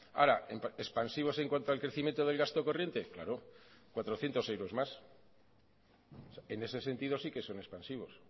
ahora expansivos en cuanto al crecimiento del gasto corriente claro cuatrocientos euros más en ese sentido sí que son expansivos